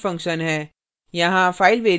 यह हमारा main function है